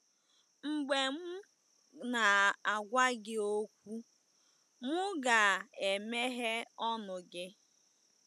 Mgbe m na-agwa gị okwu, m ga-emeghe ọnụ gị.”